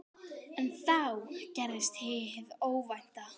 En þá gerðist hið óvænta.